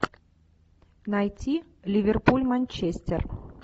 найти ливерпуль манчестер